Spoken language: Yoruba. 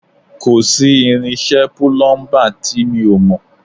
Kò sí irinṣẹ́ púlúḿbà tí mi ò mọ̀